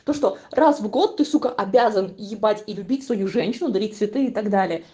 то что раз в год ты с обязан ебать и любить свою женщину дарить цветы и так далее